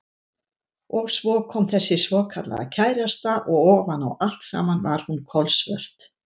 Og svo kom þessi svokallaða kærasta og ofan á allt saman var hún kolsvört.